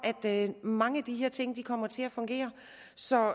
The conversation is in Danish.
at mange af de her ting kommer til at fungere så